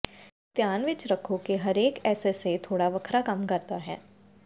ਧਿਆਨ ਵਿੱਚ ਰੱਖੋ ਕਿ ਹਰੇਕ ਐਸਐਸਏ ਥੋੜਾ ਵੱਖਰਾ ਕੰਮ ਕਰਦਾ ਹੈ